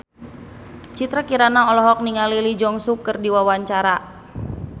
Citra Kirana olohok ningali Lee Jeong Suk keur diwawancara